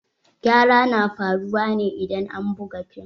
Gyara na faruwa ne idan an buga fim.